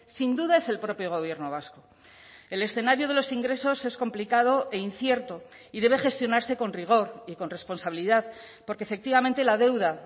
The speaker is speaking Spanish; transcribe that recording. sin duda es el propio gobierno vasco el escenario de los ingresos es complicado e incierto y debe gestionarse con rigor y con responsabilidad porque efectivamente la deuda